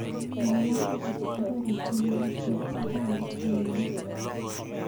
Mwawa akobo arorutienyu nebo arawet nenyone.